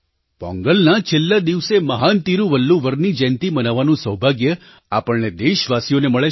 પોંગલના છેલ્લા દિવસે મહાન તિરુવલ્લુવરની જયંતી મનાવવાનું સૌભાગ્ય આપણને દેશવાસીઓને મળે છે